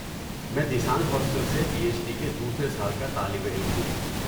میں دیسانگ ہاسٹل سے P H D کے دوسرے سال کا طالب علم ہوں۔